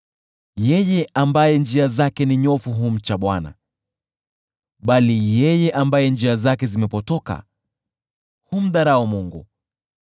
Yeye ambaye njia zake ni nyofu humcha Bwana , bali yeye ambaye njia zake zimepotoka humdharau Mungu.